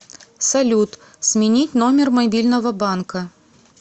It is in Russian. салют сменить номер мобильного банка